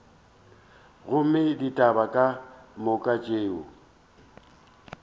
gomme ditaba ka moka tšeo